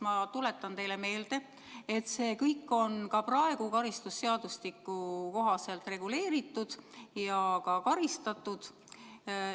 Ma tuletan teile meelde, et see kõik on ka praegu karistusseadustiku kohaselt reguleeritud ja karistatav.